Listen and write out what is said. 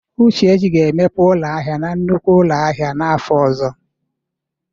Uchechi ga-emepe ụlọ ahịa na nnukwu ụlọ ahịa n'afọ ọzọ.